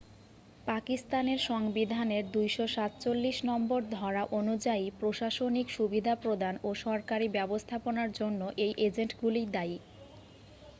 পাকিস্তানের সংবিধানের 247 নম্বর ধরা অনুযায়ী প্রশাসনিক সুবিধা প্রদান ও সরকারি ব্যবস্থাপনার জন্য এই এজেন্টগুলিই দায়ী